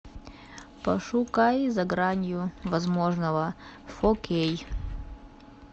пошукай за гранью возможного окей